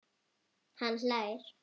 Hann hlær.